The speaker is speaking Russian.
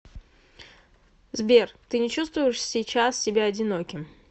сбер ты не чувствуешь сейчас себя одиноким